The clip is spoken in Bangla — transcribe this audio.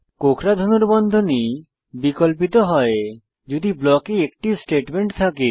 কোঁকড়া ধনুর্বন্ধনী বিকল্পিত হয় যদি ব্লকে একটি স্টেটমেন্ট থাকে